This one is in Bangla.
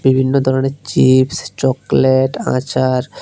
বিভিন্ন ধরনের চিপস চকলেট আচার--